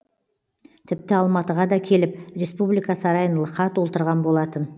тіпті алматыға да келіп республика сарайын лықа толтырған болатын